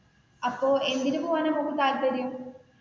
അപ്പൊ എന്തിനു പോകാനാണ് മോൾക്ക് താല്പര്യം?